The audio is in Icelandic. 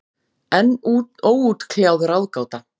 Enn óútkljáð ráðgáta.